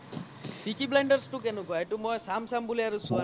peaky blinders ৰ তো কেনেকোৱা এইতো মই চাম চাম বুলি আৰু ছোৱা নাই